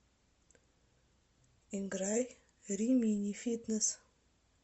играй римини фитнесс